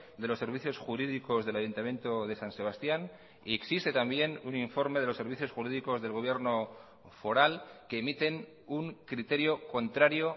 de los servicios jurídicos del ayuntamiento de san sebastián y existe también un informe de los servicios jurídicos del gobierno foral que emiten un criterio contrario